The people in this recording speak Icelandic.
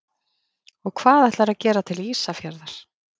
Og hvað ætlarðu að gera til Ísafjarðar?